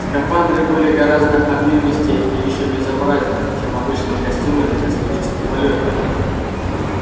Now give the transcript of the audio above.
скафандры были гораздо объёмистее и ещё безобразнее чем обычные костюмы для космических полётов